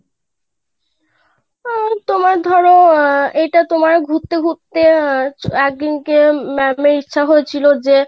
তো তোমার ধরো আহ এটা তোমার ঘুরতে ঘুরতে আহএকদিন কে ma'am এর ইচ্ছে হয়েছিল যে;